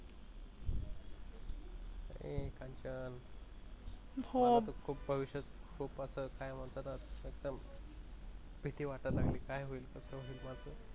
ए कांचन, हो, मला त खुप भविष्यात खूप अस काय मनतात खुप भिति वाटायला लागलि काय होईल कस होईल माझ?